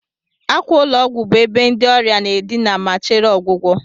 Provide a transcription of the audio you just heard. akwa ụlọ ọgwụ bụ ebe ndị ọrịa na-adina ma chere ọgwụgwọ